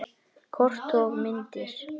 Kort og myndir